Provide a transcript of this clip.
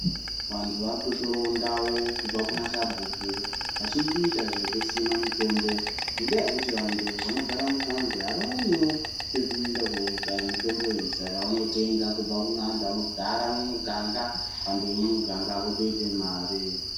Vantu vaaakutotorawo ndau kubva kunasabhuku, vachitoita zvekusima mitombo ngendaa yekuti vantu vanogara muthaundi avaoniwo pekuenda kokaya mitomboyo. Saka vanotenga kubva kune antu anogara mumiganga ,vantu vemumiganga votoite mare.